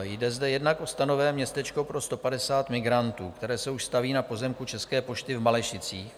Jde zde jednak o stanové městečko pro 150 migrantů, které se už staví na pozemku České pošty v Malešicích,